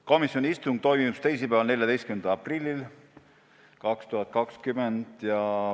Komisjoni istung toimus teisipäeval, 14. aprillil 2020.